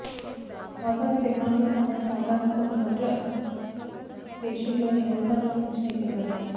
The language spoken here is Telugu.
వాస్తవానికి టెక్నాలజీకి సంబంధించిన అవగాహన కోసం మంత్రుల పేషీల్లోని అధికారులకు శిక్షణ ఇప్పించారు